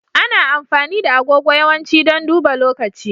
Ana amfani da agogo yawanci don duba lokaci.